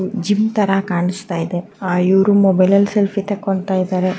Gym ತರ ಕಾಣಿಸ್ತಾ ಇದೆ ಇವ್ರು ಮೊಬೈಲ್ನಲ್ಲಿ ಸೆಲ್ಫಿ ತೆಕೊಂತ್ತಾ ಇದ್ದಾರೆ.